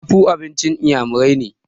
afu abincin inyamirai ne